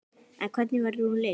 En hvernig verður hún leyst?